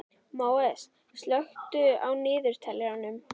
Móses, slökktu á niðurteljaranum.